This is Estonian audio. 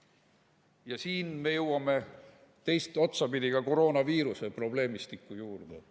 Ja siin me jõuame teist otsa pidi koroonaviiruse probleemistiku juurde.